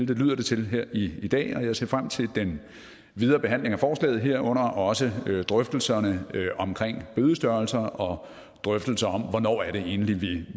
det lyder det til her i dag og jeg ser frem til den videre behandling af forslaget herunder også drøftelserne omkring bødestørrelser og drøftelser om hvornår det egentlig er